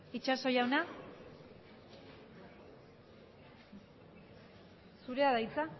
itxaso jauna zurea da hitza